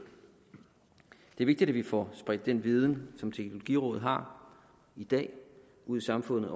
er vigtigt at vi får spredt den viden som teknologirådet har i dag ud i samfundet